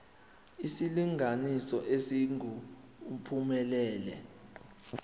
isilinganiso esingu uphumelele